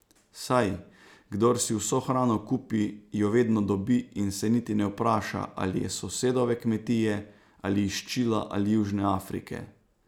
Saj, kdor si vso hrano kupi, jo vedno dobi in se niti ne vpraša, ali je s sosedove kmetije ali iz Čila ali Južne Afrike.